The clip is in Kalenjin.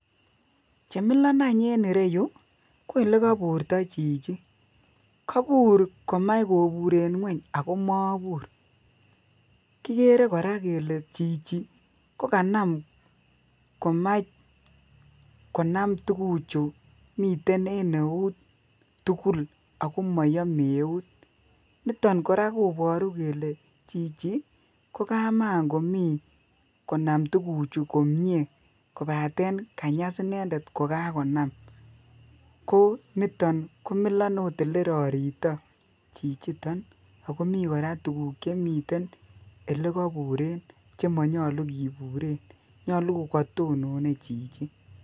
Chemilon anch en ireyuu ko lekoburto chichi, kobur komach koburen ngwony ako mobur. Kikere Koraa kele chichi ko kanam komach konam tukuchu miten en eut tukuk ako moyome eut niton Koraa koboru kele chichi ko kamakomii konam tukuchu komie kopaten kanyas inendet kokakonam ko niton komilon ot olerorito chichiton ako mii Koraa tukuk chekoburen chemonyolu kiburen nyolu ko kotononr chichi.